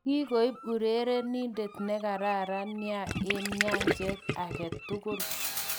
Kikoib uterenidet nekararan nia eng nyajet age tugul.